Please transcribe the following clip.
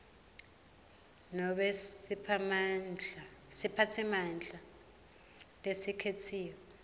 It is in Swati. nobe siphatsimandla lesikhetsiwe